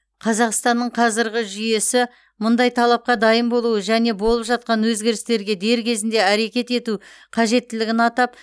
қазақстанның қазіргі жүйесі мұндай талапқа дайын болуы және болып жатқан өзгерістерге дер кезінде әрекет ету қажеттілігін атап